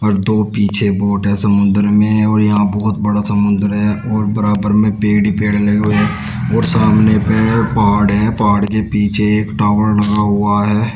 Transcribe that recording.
और दो पीछे बोट है समुद्र में और यहां बहुत बड़ा समुद्र है और बराबर में पेड़ ही पेड़ लगे हुए हैं और सामने पे पहाड़ है पहाड़ के पीछे एक टावर लगा हुआ है।